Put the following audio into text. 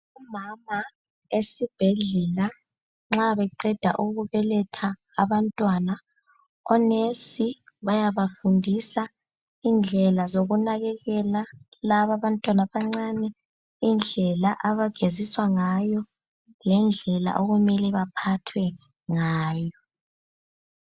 Omama esibhedlela nxa beqeda ukubeletha abantwana onesi bayabafundisa indlela zokunakekela laba bantwana abancane, indlela abageziswa ngayo lendlela okumele baphathwe ngayo.